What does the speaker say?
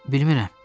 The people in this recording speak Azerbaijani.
Bilmirem.